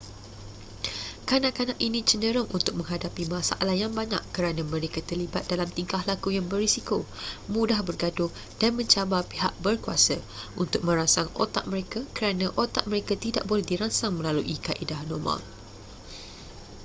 kanak-kanak ini cenderung untuk menghadapi masalah yang banyak kerana mereka terlibat dalam tingkah laku yang berisiko mudah bergaduh dan mencabar pihak berkuasa untuk merangsang otak mereka kerana otak mereka tidak boleh dirangsang melalui kaedah normal